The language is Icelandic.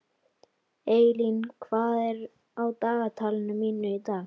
Eylín, hvað er á dagatalinu mínu í dag?